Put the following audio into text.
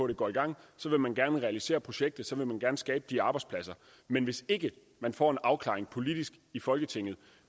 det går i gang og så vil man gerne realisere projektet så vil man gerne skabe de arbejdspladser men hvis ikke man får en afklaring politisk i folketinget